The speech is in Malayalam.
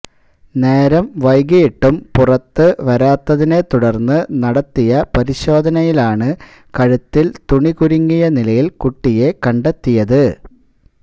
നേരം വൈകിയിട്ടും പുറത്ത് വരാത്തതിനെത്തുടര്ന്ന് നടത്തിയ പരിശോധനയിലാണ് കഴുത്തിൽ തുണി കുരുങ്ങിയ നിലല് കുട്ടിയെ കണ്ടെത്തിയത്